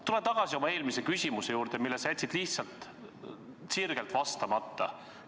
Tulen tagasi oma eelmise küsimuse juurde, millele sa jätsid lihtsalt vastamata.